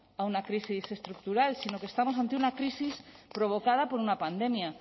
a una crisis estructural sino que estamos ante una crisis provocada por una pandemia